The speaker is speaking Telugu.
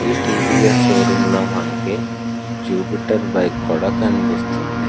ఈ T. V. S. Show room లో మనకి జూపిటర్ బైక్ కూడా కనిపిస్తుంది.